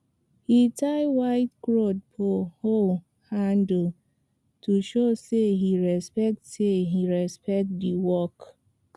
he tie white cloth for hoe handle to show say he respect say he respect the work